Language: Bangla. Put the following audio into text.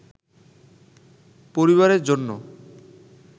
পরিবারের জন্য